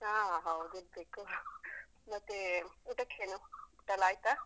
ಹಾ ಹೌದಿರ್ಬೇಕು ಮತ್ತೇ ಊಟಕ್ಕೇನು? ಊಟಯೆಲ್ಲ ಆಯ್ತಾ?